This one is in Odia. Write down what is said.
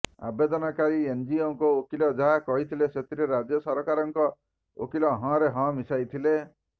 ଆବେଦନକାରୀ ଏନଜିଓଙ୍କ ଓକିଲ ଯାହା କହିଥିଲେ ସେଥିରେ ରାଜ୍ୟ ସରକାରଙ୍କ ଓକିଲ ହଁ ରେ ହଁ ମିଶାଇଥିଲେ